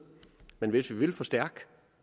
men hvis vi vil forstærke